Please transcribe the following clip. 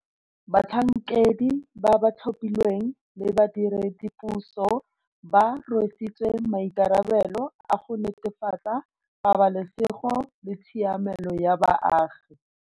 Batlhankedi ba ba tlhophilweng le badiredipuso ba rwesitswe maikarabelo a go netefatsa pabalesego le tshiamelo ya baagi.